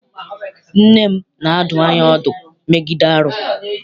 Nne m na-adụ anyị ọdụ megide arụ.